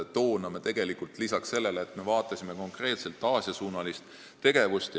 Loomulikult me vaatasime toona konkreetselt Aasia-suunalist tegevust.